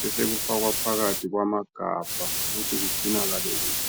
besekufakwa phakathi kwamagabha ukuthi kucinakale kuhle